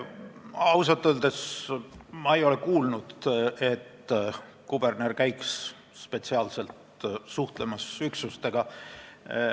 Ausalt öeldes ma ei ole kuulnud, et kuberner käiks spetsiaalselt üksustega suhtlemas.